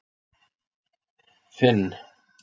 Finn